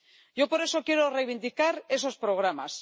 Yo, por eso, quiero reivindicar esos programas.